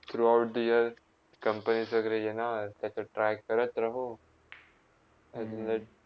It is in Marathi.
Through out the year companies वैगरे येणार त्याच्यात try करत राहो. आणि मग